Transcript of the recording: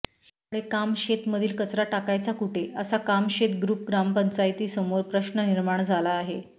यामुळे कामशेत मधील कचरा टाकायचा कुठे असा कामशेत ग्रुप ग्रामपंचायती समोर प्रश्न निर्माण झाला आहे